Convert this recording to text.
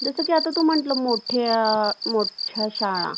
जस काही तू आता म्हणाल मोठ्या मोठ्या शाळा